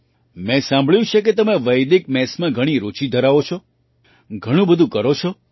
મેં સાંભળ્યું છે કે તમે વૈદિક મેથ્સમાં ઘણી રૂચિ ધરાવો છો ઘણું બધું કરો છો